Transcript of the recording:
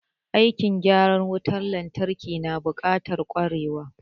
Aikin gyaran wutan lantarki na buƙatar ƙwarewa.